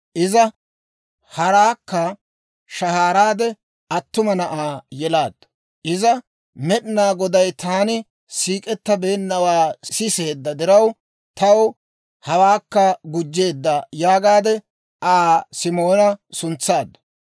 Iza haraakka shahaaraade attuma na'aa yelaaddu. Iza, «Med'inaa Goday taani siik'ettabeenawaa siseedda diraw, taw hawaakka gujjeedda» yaagaadde, Aa Simoona suntsaaddu.